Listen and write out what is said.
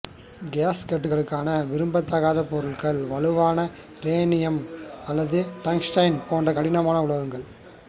கேஸ்கட்களுக்கான விரும்பத்தக்க பொருட்கள் வலுவான ரெனியம் அல்லது டங்ஸ்டன் போன்ற கடினமான உலோகங்கள்